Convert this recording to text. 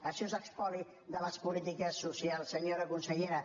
això és espoli de les polítiques socials senyora consellera